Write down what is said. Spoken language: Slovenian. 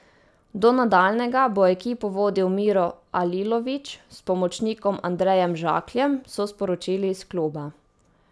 Do nadaljnjega bo ekipo vodil Miro Alilović s pomočnikom Andrejem Žakljem, so sporočili iz kluba.